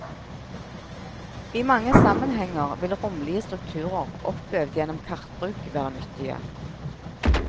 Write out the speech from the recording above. I mange sammenhenger vil romlige strukturer oppøvd gjennom kartbruk, være nyttige.